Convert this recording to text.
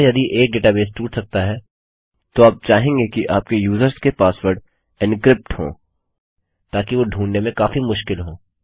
अतः यदि एक डेटा बेस टूट सकता है तो आप चाहेंगे कि आपके यूज़र्स के पासवर्ड एन्क्रिप्ट हो ताकि वो ढूँढने में काफी मुश्किल हों